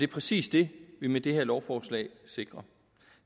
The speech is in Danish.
præcis det vi med det her lovforslag sikrer